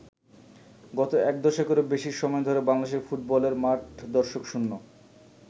গত এক দশকেরও বেশি সময় ধরে বাংলাদেশে ফুটবলের মাঠ দর্শকশূন্য।